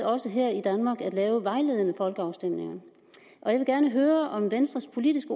også her i danmark med at lave vejledende folkeafstemninger jeg vil gerne høre om venstres politiske